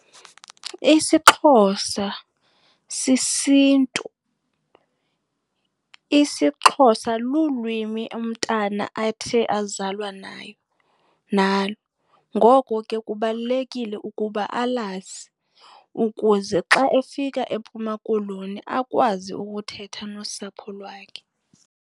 IsiXhosa sisiNtu. IsiXhosa lulwimi umntana athe azalwa nayo, nalo ngoko ke kubalulekile ukuba alazi ukuze xa efika eMpuma Koloni akwazi ukuthetha nosapho lwakhe.